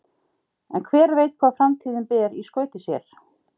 En hver veit hvað framtíðin ber í skauti sér?